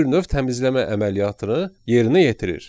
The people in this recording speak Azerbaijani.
Yəni bir növ təmizləmə əməliyyatını yerinə yetirir.